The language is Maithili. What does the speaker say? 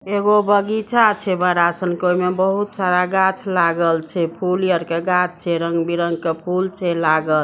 एगो बगीचा छे बड़ा सन का उमें बहुत सारा गाछ लागल छे फुल यार के गाछ छे रंग बिरंग के फुल छे लागल।